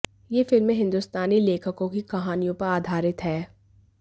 ये फिल्में हिंदुस्तानी लेखकों की कहानियों पर आधारित हैं